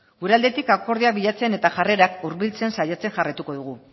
gure aldetik akordioak bilatzen eta jarrerak hurbiltzen saiatzen jarraituko dugu